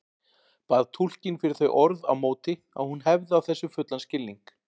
Bað túlkinn fyrir þau orð á móti að hún hefði á þessu fullan skilning.